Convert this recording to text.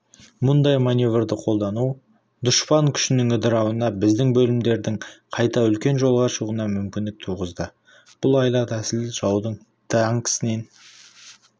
мұндай маневрді қолдану дұшпан күшінің ыдырауына біздің бөлімдердің қайта үлкен жолға шығуына мүмкіндік туғызды бұл айла-тәсіл жаудың діңкесін